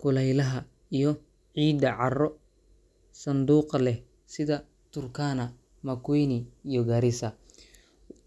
kulaylaha iyo ciidda carro-sanduuqa leh sida Turkana, Makueni, iyo Garissa.